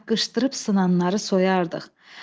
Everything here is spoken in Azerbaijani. Çaqqışdırıb sınanları soyardıq.